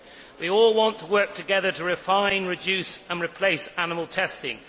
We all want to work together to refine, reduce and replace animal testing.